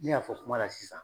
Ne y'a fɔ kuma la sisan